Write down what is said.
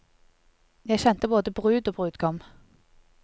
Jeg kjente både brud og brudgom.